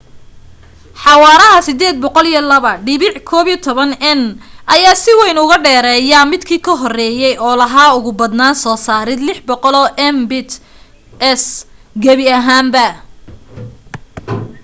xawaaraha 802.11n ayaa si weyn uuga dheereya midkii ka horeeye oo lahaa ugu badnaan soo saarid 600mbit/s gabi ahaanba